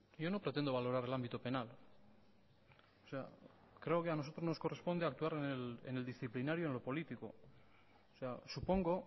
yo no pretendo valorar el ámbito penal creo que a nosotros nos corresponde actuar en el disciplinario en lo político supongo